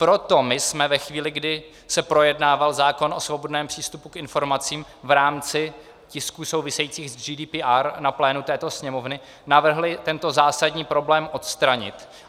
Proto my jsme ve chvíli, kdy se projednával zákon o svobodném přístupu k informacím v rámci tisků souvisejících s GDPR na plénu této Sněmovny, navrhli tento zásadní problém odstranit.